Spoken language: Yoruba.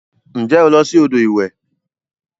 Nje o lo si odo iwe?